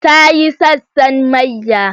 Ta yi sassan mayya.